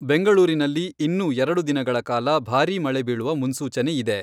ಬೆಂಗಳೂರಿನಲ್ಲಿ ಇನ್ನೂ ಎರಡು ದಿನಗಳ ಕಾಲ ಭಾರೀ ಮಳೆ ಬೀಳುವ ಮನ್ಸೂಚನೆ ಇದೆ.